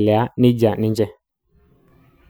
ngotonye